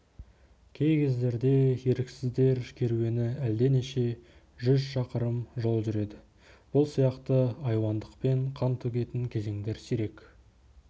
кей кездерде еріксіздер керуені әлденеше жүз шақырым жол жүреді бұл сияқты айуандықпен қан төгетін кезеңдер сирек